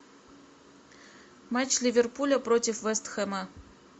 матч ливерпуля против вест хэма